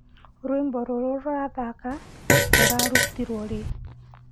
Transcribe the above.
rwĩmbo rũrũ rurathaka rurarutiirwo rii